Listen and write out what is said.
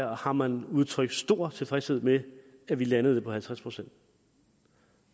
har man udtrykt stor tilfredshed med at vi landede det på halvtreds procent